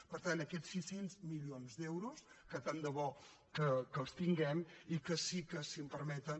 per tant aquests sis cents milions d’euros que tant de bo que els tinguem i que sí que si em permeten